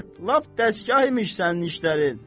Lap dəstgah imiş sənin işlərin.